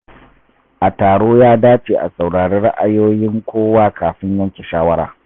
A taro, ya dace a saurari ra’ayoyin kowa kafin yanke shawara.